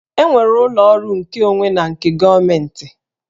E nwere ụlọ ọrụ nkeonwe na nke gọọmentị